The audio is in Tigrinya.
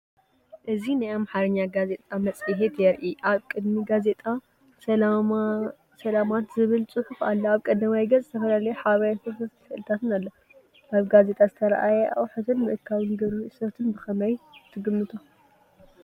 እዚ ናይ ኣምሓርኛ ጋዜጣ መጽሔት የርኢ። ኣብ ቅድሚት "ጋዜጣ ሰላማንት" ዝብል ጽሑፍ ኣሎ። ኣብ ቀዳማይ ገጽ ዝተፈላለየ ሓበሬታን ስእልታትን ኣሎ። ኣብ ጋዜጣ ዝተራእየ ኣቑሑትን ምእካብ ግብሪ እቶትን ብኸመይ ትግምቶ?